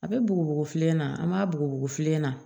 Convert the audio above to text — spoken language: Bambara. A bɛ bugu filen na an b'a bugu filen na